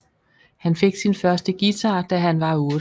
Han fik sin første guitar da han var otte